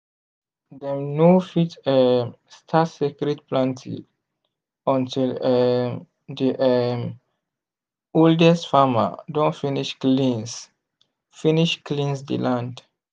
dem no fit um start sacred planting until um di um oldest farmer don finish cleanse finish cleanse di land.